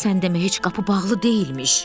Sən demə heç qapı bağlı deyilmiş.